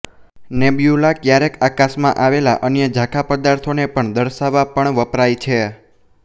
nebula ક્યારેક આકાશમા આવેલા અન્ય ઝાંખા પદાર્થો ને દર્શાવવા પણ વપરાય છે